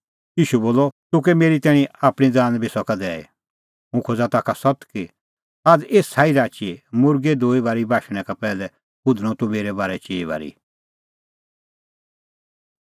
ईशू बोलअ तूह कै मेरी तैणीं आपणीं ज़ान बी सका दैई हुंह खोज़ा ताखा सत्त कि आझ़ एसा ई राची मुर्गै दूई बारी बाशणैं का पैहलै हुधणअ तूह मेरै बारै चिई बारी